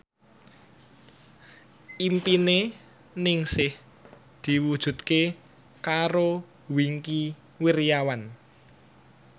impine Ningsih diwujudke karo Wingky Wiryawan